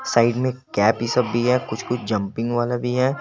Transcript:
Side में cap भी सब भी है कुछ कुछ जंपिंग वाला भी है।